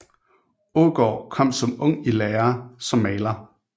Aagaard kom som ung i lære som maler